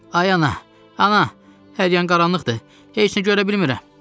Ay ana, ana, hər yer qaranlıqdır, heç nə görə bilmirəm!